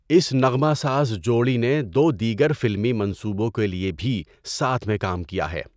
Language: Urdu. اس نغمہ ساز جوڑی نے دو دیگر فلمی منصوبوں کے لیے بھی ساتھ میں کام کیا ہے۔